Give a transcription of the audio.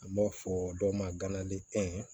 An b'a fɔ dɔ ma ganalitɛnɛn